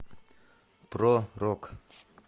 про рок